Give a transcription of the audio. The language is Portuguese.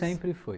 Sempre foi.